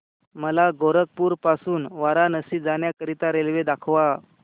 मला गोरखपुर पासून वाराणसी जाण्या करीता रेल्वे दाखवा